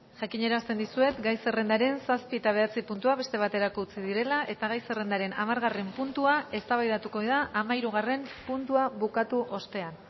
jakinarazten dizuet gai zerrendaren zazpi eta bederatzi puntuak beste baterako utzi direla eta gai zerrendaren hamargarren puntua eztabaidatuko da hamahirugarren puntua bukatu ostean